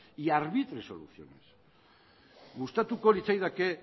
y arbitre soluciones gustatuko litzaidake